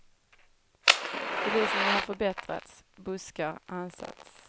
Belysningen har förbättrats, buskar ansats.